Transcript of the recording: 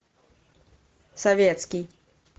советский